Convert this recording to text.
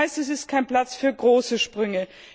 Das heißt, es ist kein Platz für große Sprünge.